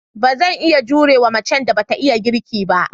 Ba zan iya jure wa macen da ba ta iya girki ba.